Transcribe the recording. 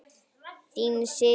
Þínir synir Hafþór og Örn.